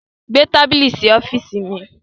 Gbé tábílì sí ọ̀fììsì mi!